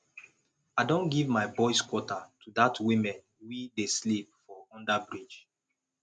i don give my boys quarter to dat women we dey sleep for underbridge